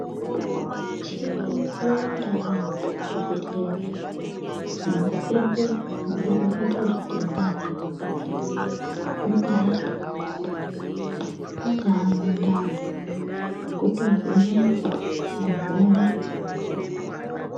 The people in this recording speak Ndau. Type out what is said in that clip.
Michini yawanda yaambo muzvibhedhlera inohleye nekuvheneke zvitenda zvemukati zvingaa zvemumoyo mungaa mundani kutovhenekwa muntu oone kupuwa mutombo.